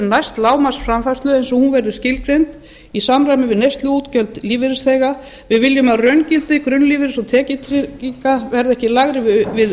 næst lágmarksframfærslu eins og hún verður skilgreind í samræmi við neysluútgjöld lífeyrisþega við viljum að raungildi grunnlífeyris og tekjutrygginga verði ekki lægra við